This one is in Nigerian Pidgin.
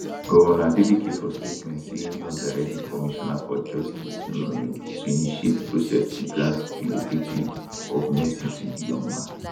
govnor adeleke for statement say im don direct di commissioner for justice um to initiate processes to grant prerogative of mercy to di young man